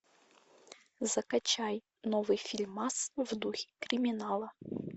закачай новый фильмас в духе криминала